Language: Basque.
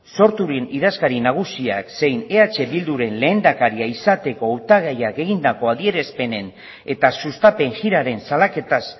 sorturen idazkari nagusia zein eh bilduren lehendakaria izateko hautagaiak egindako adierazpenen eta sustapen jiraren salaketa